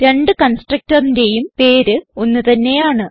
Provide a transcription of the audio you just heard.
രണ്ട് constructorന്റേയും പേര് ഒന്ന് തന്നെയാണ്